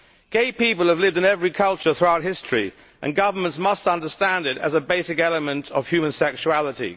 Gay people have lived in every culture throughout history, and governments must understand that this is a basic element of human sexuality.